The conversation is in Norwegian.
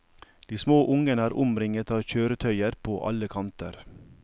De små ungene er omringet av kjøretøyer på alle kanter.